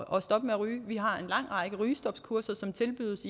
at stoppe med at ryge vi har en lang række rygestopkurser som tilbydes